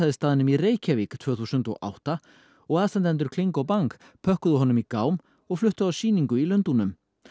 staðnum í Reykjavík tvö þúsund og átta og aðstandendur kling og bang pökkuðu honum í gám og fluttu á sýningu í Lundúnum